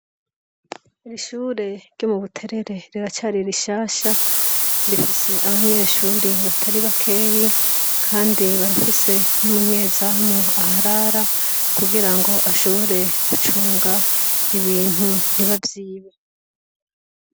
Iri shure ryo mubuterere ,ricari rishasha, rifise abanyeshure batari bakeyi, Kandi barafise n’umunyezamu aharara ,kugirango ashobore gucunga ibintu ntibavyibe.